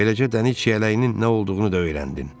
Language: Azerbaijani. Beləcə dəniz çiyələyinin nə olduğunu da öyrəndin.